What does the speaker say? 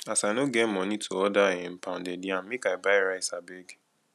as i no get moni to order um pounded yam make i buy rice abeg